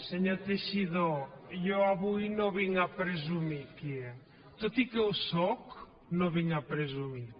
senyor teixidó jo avui no vinc a presumir aquí tot i que ho sóc no vinc a presumir